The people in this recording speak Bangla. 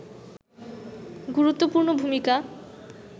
গুরুত্বপূর্ণ ভূমিকা